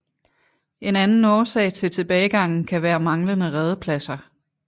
En anden årsag til tilbagegangen kan være manglende redepladser